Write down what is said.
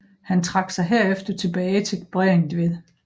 Han trak sig herefter tilbage til Bregentved